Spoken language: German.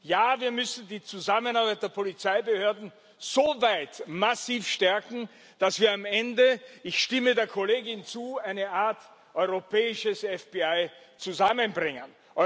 Ja, wir müssen die Zusammenarbeit der Polizeibehörden so weit massiv stärken, dass wir am Ende ich stimme der Kollegin zu eine Art europäisches FBI zusammenbringen.